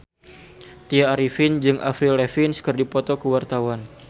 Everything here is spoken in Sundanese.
Tya Arifin jeung Avril Lavigne keur dipoto ku wartawan